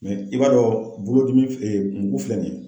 i b'a dɔn bolodimi mugu filɛ nin ye.